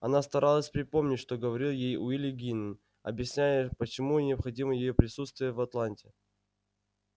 она старалась припомнить что говорил ей уилли гинн объясняя почему необходимо её присутствие в атланте